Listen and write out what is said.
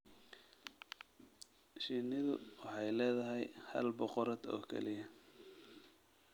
Shinnidu waxay leedahay hal boqorad oo kaliya.